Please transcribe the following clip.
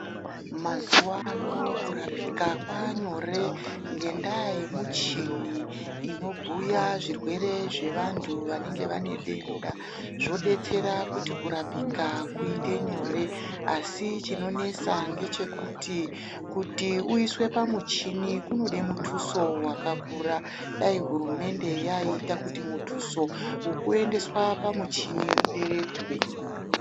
Mazuwano kurapika kwaanyore ngendaa yemuchini inobhuya zvirwere zvevanhu vanenge vane denda zvodetsera kuti kurapika kuite nyore asi chinonesa ngechekuti, kuti uiswe pamuchini kunode mutuso wakakura, dai hurumende yaiita kuti mutuso wekuendeswa pamuchini uderedzwe.